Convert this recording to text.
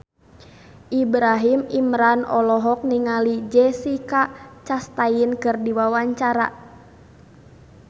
Ibrahim Imran olohok ningali Jessica Chastain keur diwawancara